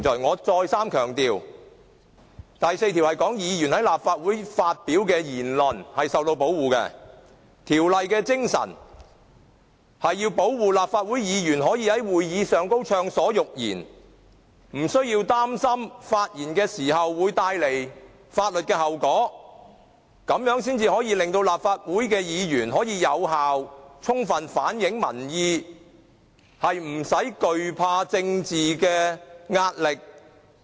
"我再三強調，第4條說的是，議員在立法會發表的言論是受到保護的，條例的精神是要保護立法會議員可以在會議中暢所欲言，不需要擔心發言會帶來法律的後果，這樣才可以令到立法會議員能夠有效充分反映民意，不用懼怕政治壓力。